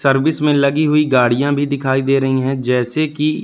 service में लगी हुई गाड़िया भी दिखाई दे रही है जैसे की--